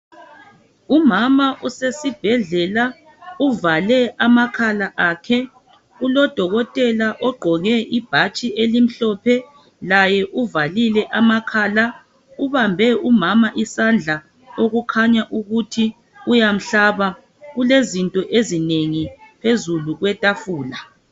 Umama usesibhedlela uvale amakhala Kulodokotela ugqoke ibhatshi elimhlophe laye uvale amakhala, ubambe umama isandla okukhanya ukuthi uyamhlaba kulezinto ezinengi phezu kwetafula.